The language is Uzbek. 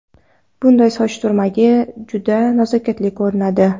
Bunday soch turmagi juda nazokatli ko‘rinadi!